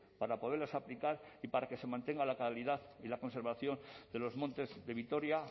para poderlas aplicar y para que se mantenga la calidad y la conservación de los montes de vitoria